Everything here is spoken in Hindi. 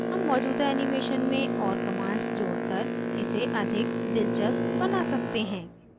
हम मौजूदा animation में और commands जोड़कर इसे अधिक दिलचस्प बना सकते हैं